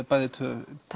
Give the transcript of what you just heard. bæði tvö